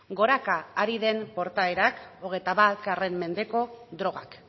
goraka ari den portaerak hogeita bat mendeko drogak